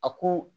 A ko